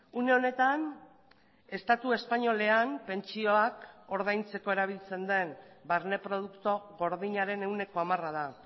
une honetan estatu espainolean pentsioak ordaintzeko erabiltzen den barne produktu gordinaren ehuneko hamara da